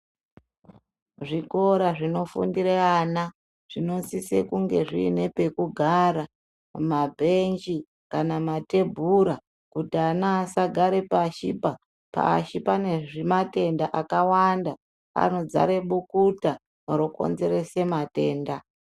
Zvikora zvinofundire ana zvinosisa kunge zviine pekugara mabhenji kana matebhura kuti ana asagare pashiba pashi pane zvimatenda zvakawanda anodzare bukuta rokonzerese matenda.